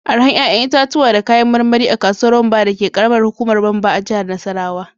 Arahan 'ƴa'ƴan itatuwa da kayan marmari a kasuwar Wamba dake karamar hukumar Wamba a jihar Nasarawa.